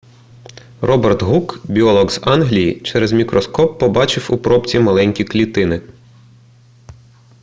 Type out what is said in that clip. роберт гук біолог з англії через мікроскоп побачив у пробці маленькі клітини